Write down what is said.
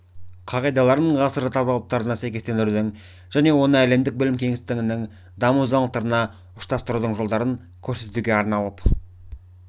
қағидаларын ғасыр талаптарына сәйкестендірудің және оны әлемдік білім кеңістігінің даму заңдылықтарына ұштастырудың жолдарын көрсетуге арналып